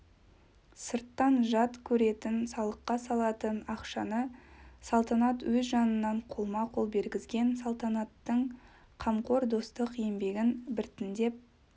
сырттан жат көретін салыққа салатын ақшаны салтанат өз жанынан қолма-қол бергізген салтанаттың қамқор достық еңбегін біртіндеп